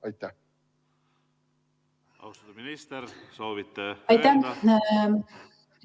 Aitäh!